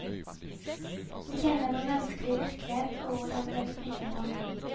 Vi kjenner vår menneskelige virkelighet og hvordan den fungerer.